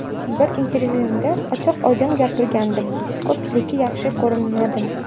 Bir intervyuimda ochiq-oydin gapirgandim, ko‘pchilikka yaxshi ko‘rinmadim.